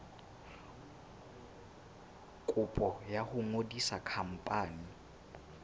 kopo ya ho ngodisa khampani